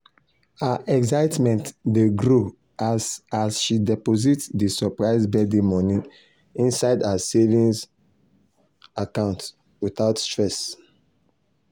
her excitement dey grow as as she deposit di surprise birthday money inside her savings um account without stress.